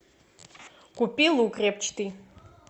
купи лук репчатый